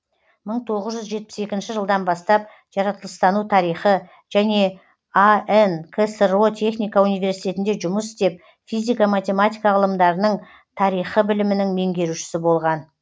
мың тоғыз жүз жетпіс екінші жылдан бастап жаратылыстану тарихы және ан ксро техника университетінде жұмыс істеп физика математика ғылымдарының тарихы білімінің меңгерушісі болған